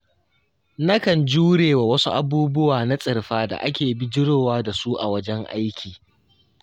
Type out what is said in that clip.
Nakan jurewa wasu abubuwa na tsirfa da ake bijirowa da su a wajen aiki.